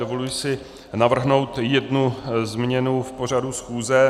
Dovoluji si navrhnout jednu změnu v pořadu schůze.